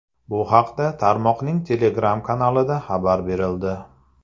Bu haqda tarmoqning Telegram kanalida xabar berildi.